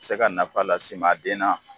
Se ka nafa las'i ma a den na.